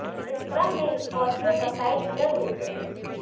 इस क्रम में स्कॉर्पियो का साइड मिरर टूट गया